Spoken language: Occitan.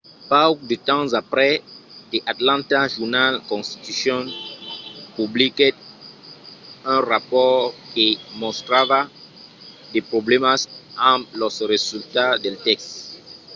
pauc de temps aprèp the atlanta journal-constitution publiquèt un rapòrt que mostrava de problèmas amb los resultats del test